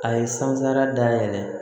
A ye san sara dayɛlɛ